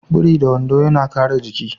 Biri da wando yana kare jiki.